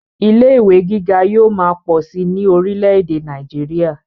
ilé ìwé gíga yóò máa pọ̀ síi ní orílẹ̀-ẹ̀dẹ̀ nàìjíría